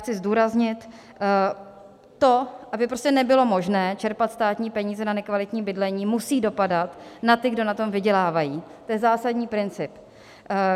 Chci zdůraznit to, aby prostě nebylo možné čerpat státní peníze na nekvalitní bydlení, musí dopadat na ty, kdo na tom vydělávají, to je zásadní princip.